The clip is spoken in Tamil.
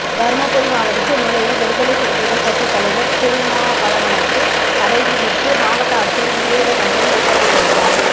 தருமபுரி மாவட்டத்தில் நுழைய விடுதலை சிறுத்தைகள் கட்சி தலைவர் திருமாவளவனுக்கு தடை விதித்து மாவட்ட ஆட்சியர் விவேகானந்தன் உத்தரவிட்டிருந்தார்